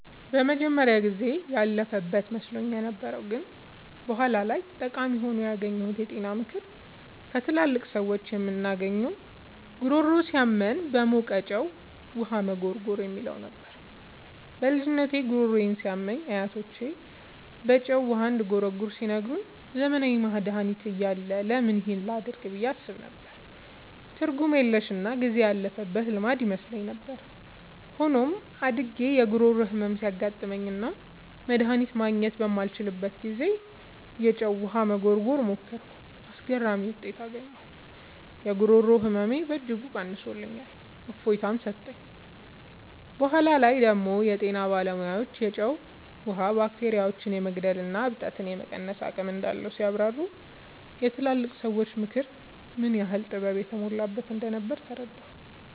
የመጀመሪያው ጊዜ ያለፈበት መስሎኝ የነበረው ግን በኋላ ላይ ጠቃሚ ሆኖ ያገኘሁት የጤና ምክር ከትላልቅ ሰዎች የምናገኘው "ጉሮሮ ሲያመን በሞቀ ጨው ውሃ መጉርጎር" የሚለው ነበር። በልጅነቴ ጉሮሮዬ ሲያመኝ አያቶቼ በጨው ውሃ እንድጉርጎር ሲነግሩኝ፣ ዘመናዊ መድሃኒት እያለ ለምን ይህን ላደርግ ብዬ አስብ ነበር። ትርጉም የለሽና ጊዜ ያለፈበት ልማድ ይመስለኝ ነበር። ሆኖም፣ አድጌ የጉሮሮ ህመም ሲያጋጥመኝና መድሃኒት ማግኘት ባልችልበት ጊዜ፣ የጨው ውሃ መጉርጎርን ሞከርኩ። አስገራሚ ውጤት አገኘሁ! የጉሮሮ ህመሜን በእጅጉ ቀንሶልኝ እፎይታ ሰጠኝ። በኋላ ላይ ደግሞ የጤና ባለሙያዎች የጨው ውሃ ባክቴሪያዎችን የመግደልና እብጠትን የመቀነስ አቅም እንዳለው ሲያብራሩ፣ የትላልቅ ሰዎች ምክር ምን ያህል ጥበብ የተሞላበት እንደነበር ተረዳሁ።